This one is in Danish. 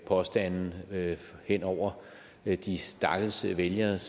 påstande hen over de stakkels vælgeres